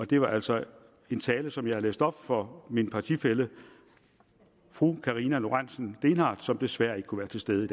det var altså en tale som jeg læste op for min partifælle fru karina lorentzen dehnhardt som desværre ikke kunne være til stede